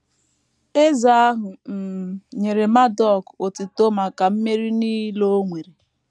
Eze ahụ um nyere Marduk otuto maka mmeri nile o nwere.